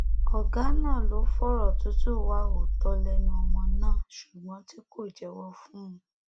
ọgá náà ló fọrọ tútù wá òótọ lẹnu ọmọ náà ṣùgbọn tí kò jẹwọ fún un